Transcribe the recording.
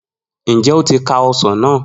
Njẹ o ti ka ọsàn na?